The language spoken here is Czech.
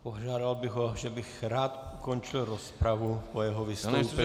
Požádal bych ho, že bych rád ukončil rozpravu po jeho vystoupení.